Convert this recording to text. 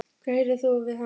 Hvað gerðir þú við hana?